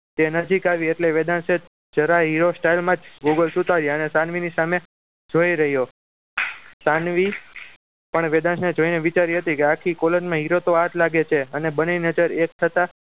તે નજીક આવી એટલે વેદાંશ જરા hero style માં જ google ઉતાર્યા અને સાનવીની સામે જોઈ રહ્યો સાનવી પણ વેદાંતને જોઈ ને વિચારી હતી આખી collage માં hero તો આ જ લાગે છે અને બંને નજર એક થતા